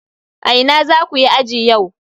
A ina zaku yi aji yau?